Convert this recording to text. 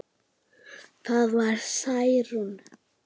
Það var Særún.